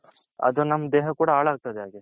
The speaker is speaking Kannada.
ಅದು ನಮ್ಮ ದೇಹ ಕೂಡ ಹಲಗ್ತದೆ